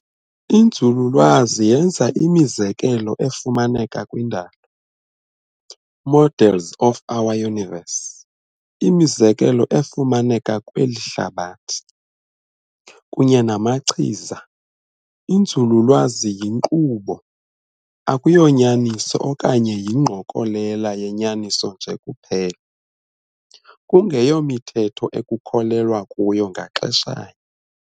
Inzululwazi yenza imizekelo efumaneka kwindalo, models of our universe, imizekelo efumaneka kweli hlabathi, kunye namachiza. Inzululwazi yinkqubo, akuyonyaniso okanye ingqokolela yenyaniso nje kuphela, kungeyomithetho ekukholelwa kuyo ngaxesha nye.